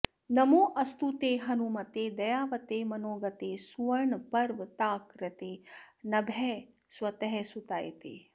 नमोऽस्तु ते हनुमते दयावते मनोगते सुवर्णपर्वताकृते नभस्स्वतः सुताय ते